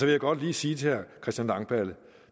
jeg godt lige sige til herre christian langballe